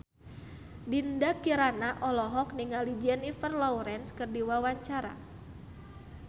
Dinda Kirana olohok ningali Jennifer Lawrence keur diwawancara